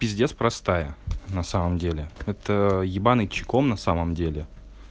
пиздец простая на самом деле это ебаный чеком на самом деле